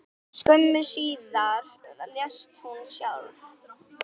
Skömmu síðar lést hún sjálf.